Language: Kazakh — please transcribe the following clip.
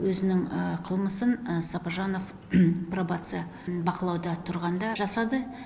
өзінің қылмысын сопыжанов пробация бақылауда тұрғанда жасады